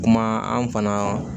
Kuma an fana